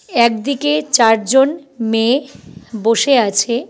একদিকে চারজন মেয়ে বসে আছে।